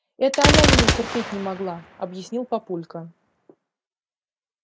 это она меня терпеть не могла объяснил папулька